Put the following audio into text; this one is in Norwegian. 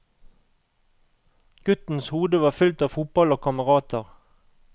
Guttens hode var fylt av fotball og kamerater.